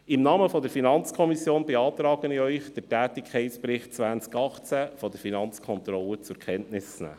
Im Namen der FiKo beantrage ich Ihnen, den Tätigkeitsbericht 2018 der Finanzkontrolle zur Kenntnis zu nehmen.